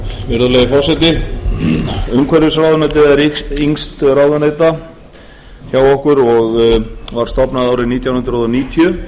virðulegi forseti umhverfisráðuneytið er yngst ráðuneyta hjá okkur og var stofnað árið nítján hundruð níutíu